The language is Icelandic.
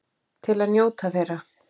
Til að njóta þeirra.